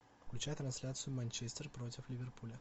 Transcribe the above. включай трансляцию манчестер против ливерпуля